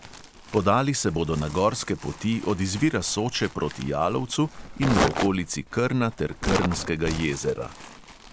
Podali se bodo na gorske poti od izvira soče proti jalovcu in v okolici krna ter krnskega jezera.